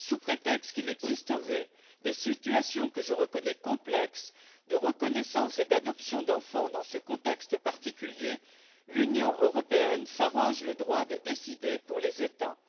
Sous prétexte qu'il existerait des situations, que je reconnais complexes, de reconnaissance et d'adoption d'enfants, dans ce contexte particulier, l'Union européenne s'arroge le droit de décider pour les États.